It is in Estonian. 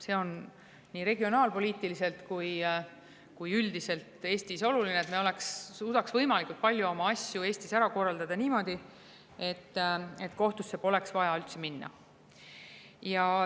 See on Eestis nii regionaalpoliitiliselt kui ka üldiselt oluline, et me suudaks võimalikult palju asju ära korraldada niimoodi, et kohtusse poleks vaja üldse minna.